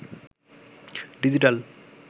digital